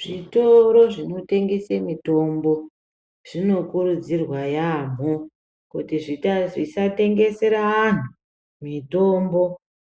Zvitoro zvinotengese mitombo zvinokurudzirwa yaamho. Kuti zvisatengesere antu mitombo